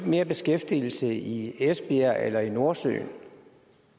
mere beskæftigelse i esbjerg eller i nordsøen